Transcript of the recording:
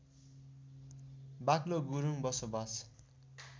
बाक्लो गुरूङ बसोबास